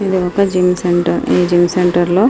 ఇది ఒక gym centre ఈ జిమ్ సెంటర్లో --